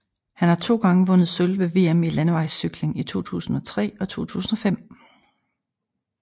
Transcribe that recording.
Han har to gange vundet sølv ved VM i landevejscykling i 2003 og 2005